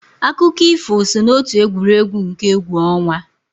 Akụkọ ifo so n'otu egwuregwu nke egwu ọnwa.